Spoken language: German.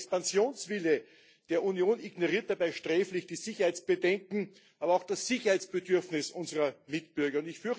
Der Expansionswille der Union ignoriert dabei sträflich die Sicherheitsbedenken, aber auch das Sicherheitsbedürfnis unserer Mitbürger.